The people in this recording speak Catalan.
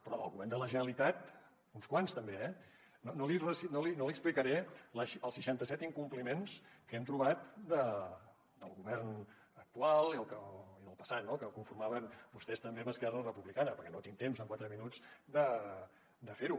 però del govern de la generalitat uns quants també eh no li explicaré els seixanta set incompliments que hem trobat del govern actual i del passat no que el conformaven vostès també amb esquerra republicana perquè no tinc temps amb quatre minuts de fer ho